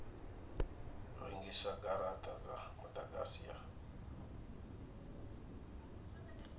rengisa garata dza mudagasi ya